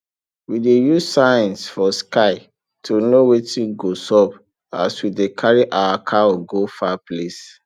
we dey use signs for sky to know wetin go sup as we dey carry our cow go far place